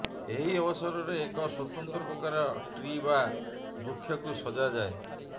ଏହି ଅବସରରେ ଏକ ସ୍ବତନ୍ତ୍ର ପ୍ରକାର ଟ୍ରି ବା ବୃକ୍ଷକୁ ସଜାଯାଏ